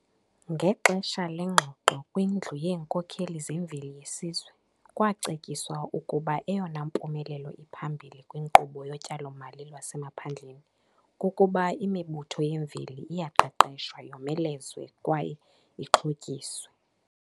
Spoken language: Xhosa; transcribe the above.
Ngexesha lengxoxo kwiNdlu yeeNkokheli zeMveli yeSizwe kwacetyiswa ukuba eyona mpumelelo iphambili kwinkqubo yoTyalo-mali lwaseMaphandleni kukuba imibutho yemveli iyaqeqeshwa, yomelezwe kwaye ixhotyiswe.